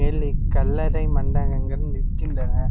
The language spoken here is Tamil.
மேல் இக்கல்லறை மாடங்கள் நிற்கின்றன